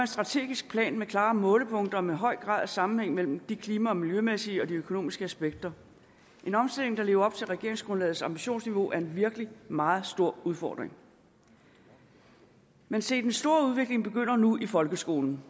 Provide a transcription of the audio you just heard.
strategisk plan med klare målepunkter og med en høj grad af sammenhæng mellem de klima og miljømæssige aspekter og de økonomiske aspekter en omstilling der lever op til regeringsgrundlagets ambitionsniveau er virkelig en meget stor udfordring men se den store udvikling begynder nu i folkeskolen